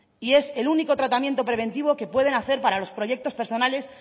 y es el único tratamiento preventivo que pueden hacer para los proyectos personales